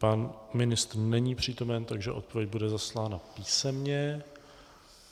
Pan ministr není přítomen, takže odpověď bude zaslána písemně.